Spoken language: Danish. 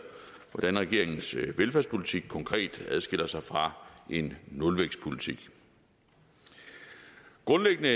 hvordan regeringens velfærdspolitik konkret adskiller sig fra en nulvækstpolitik grundlæggende